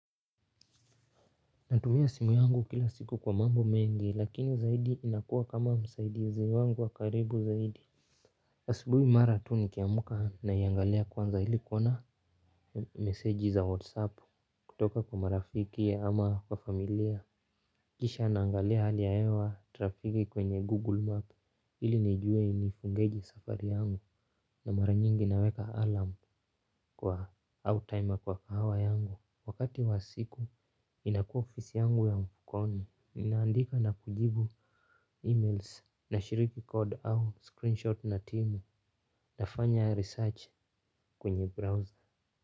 Natumia simu yangu kila siku kwa mambo mengi lakini zaidi inakuwa kama msaidizi wangu wa karibu zaidi. Asubuhi mara tu nikiamka naiangalia kwanza ili kuona meseji za whatsapp kutoka kwa marafiki ama kwa familia. Kisha naangalia hali ya hewa trafiki kwenye google map ili nijue nifungeje safari yangu na mara nyingi naweka alarm kwa au timer kwa kahawa yangu wakati wa siku inakua ofisi yangu ya mfukoni ninaandika na kujibu emails nashiriki code au screenshot na timu. Nafanya research kwenye browser.